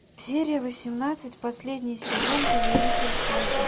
серия восемнадцать последний сезон повелитель солнца